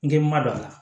N k'i ma don a la